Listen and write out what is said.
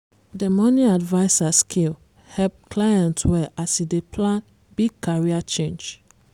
the money adviser skill help client well as e dey plan big career change.